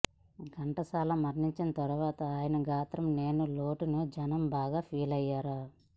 ఘంటసాల మరణించిన తరువాత ఆయన గాత్రం లేని లోటును జనం బాగా ఫీలయ్యార